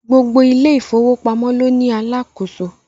Gbogbo ilé ìfọwọ́pamọ́ ló ní Alákóso